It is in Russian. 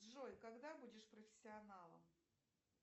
джой когда будешь профессионалом